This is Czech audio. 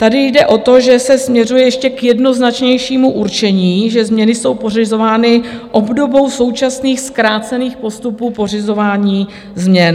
Tady jde o to, že se směřuje ještě k jednoznačnějšímu určení, že změny jsou pořizovány obdobou současných zkrácených postupů pořizování změn.